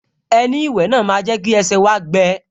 Ẹní ìwẹ̀ náà máa jẹ́ kí ẹsẹ̀ wá gbẹ